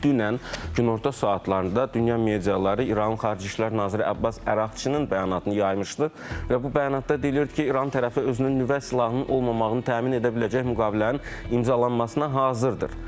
Dünən günorta saatlarında dünya mediaları İranın Xarici İşlər naziri Abbas Əraqçının bəyanatını yaymışdı və bu bəyanatda deyilirdi ki, İran tərəfi özünün nüvə silahının olmamasını təmin edə biləcək müqavilənin imzalanmasına hazırdır.